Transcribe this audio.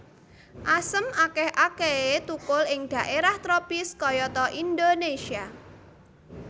Asem akéh akéhé thukul ing dhaérah tropis kayata Indonésia